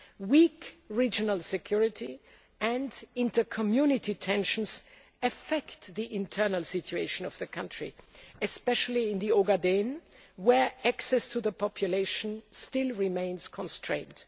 Weak regional security and inter community tensions affect the internal situation of the country, especially in the Ogaden, where access to the population still remains constrained.